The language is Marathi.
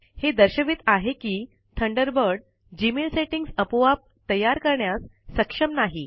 हे दर्शवित आहे किThunderbird जीमेल सेटिंग्ज अपोआप तयार करण्यास सक्षम नाही